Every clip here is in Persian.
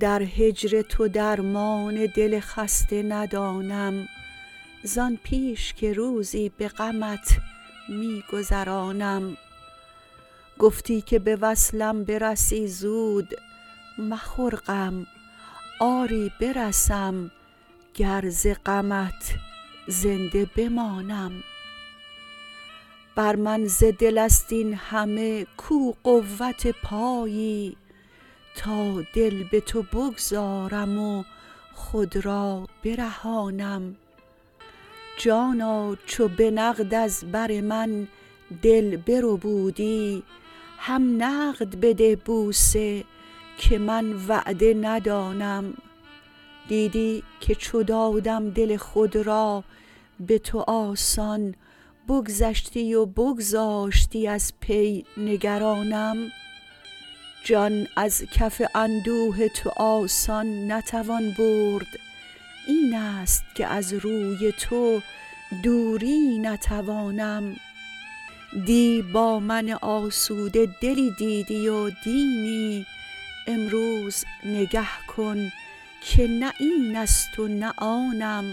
درهجر تو درمان دل خسته ندانم زان پیش که روزی به غمت می گذرانم گفتی که به وصلم برسی زود مخور غم آری برسم گر ز غمت زنده بمانم بر من ز دلست این همه کو قوت پایی تا دل بتو بگذارم و خود را برهانم جانا چو به نقد از بر من دل بربودی هم نقد بده بوسه که من وعده ندانم دیدی که چو دادم دل خود را به تو آسان بگذشتی و بگذاشتی از پی نگرانم جان از کف اندوه تو آسان نتوان برد اینست که از روی تو دوری نتوانم دی با من آسوده دلی دیدی و دینی امروز نگه کن که نه اینست و نه آنم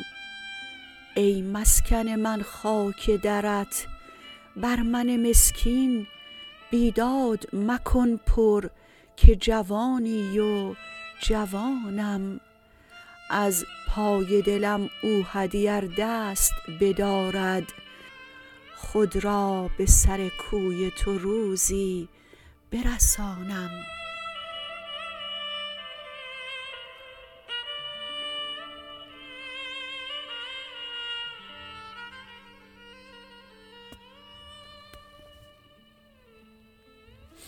ای مسکن من خاک درت بر من مسکین بیداد مکن پر که جوانی و جوانم از پای دلم اوحدی ار دست بدارد خود را به سر کوی تو روزی برسانم